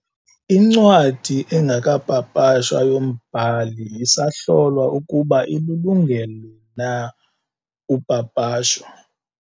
Incwadi engekapapashwa yombhali isahlolwa ukuba ilulungele na upapasho.